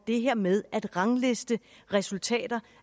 det her med at rangliste resultater